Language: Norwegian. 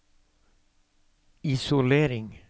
isolering